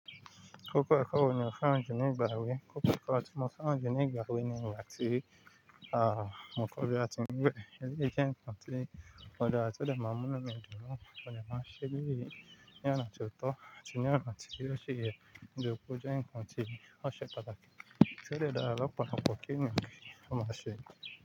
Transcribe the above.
Kókó ẹ̀kọ́ wo ní ò fẹ́ràn jù ni ìgbà ewé? Kókó ẹ̀kọ́ tí mo fẹ́ràn jù ni ìgbà ewé ni ìgbà tí mo kọ́ bí a tí ń wẹ̀ eléyìí jẹ́ nǹkan tí ó dára tó dẹ̀ máa ń mú inú mi dùn náà. Mo dẹ̀ máa ń ṣe eléyìí ní ọ̀nà tí ó tọ́ àti ní ọ̀nà tí ó ṣì yẹ nítorí pé ó jẹ́ ǹkan tí ó ṣe pàtàkì. Tí ó dẹ̀ dára lọ́pọ̀lọpọ̀ kí ènìyàn kó máa ṣe.